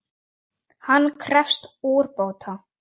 Hann krefst úrbóta.